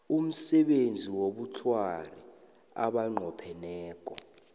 umsebenzi wobukghwari abanqopheneko